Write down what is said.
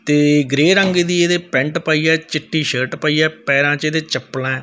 ਤੇ ਗ੍ਰੇਯ ਰੰਗ ਦੀ ਇਹਦੇ ਪੈਂਟ ਪਈ ਹੈ ਚਿੱਟੀ ਸ਼ਰਟ ਪਈ ਹੈ ਪੈਰਾਂ ਚ ਇਹਦੇ ਚੱਪਲਾਂ--